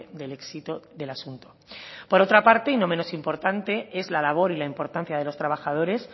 del éxito del asunto por otra parte y no menos importante es la labor y la importancia de los trabajadores